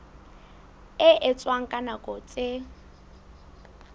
e etswang ka nako tse